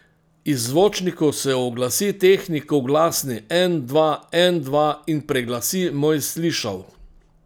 Iz zvočnikov se oglasi tehnikov glasni en, dva, en, dva in preglasi moj slišal.